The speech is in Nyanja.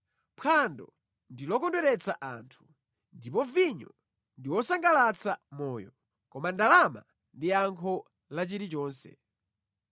Phwando ndi lokondweretsa anthu, ndipo vinyo ndi wosangalatsa moyo, koma ndalama ndi yankho la chilichonse.